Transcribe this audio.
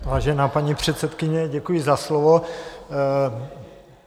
Vážená paní předsedkyně, děkuji za slovo.